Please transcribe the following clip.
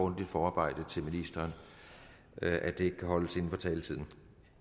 et forarbejde for ministeren at det ikke kan holdes inden for taletiden